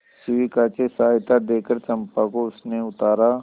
शिविका से सहायता देकर चंपा को उसने उतारा